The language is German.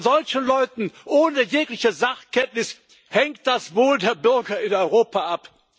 Und von solchen Leuten ohne jegliche Sachkenntnis hängt das Wohl der Bürger in Europa ab.